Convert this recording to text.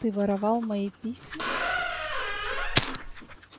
ты воровал мои письма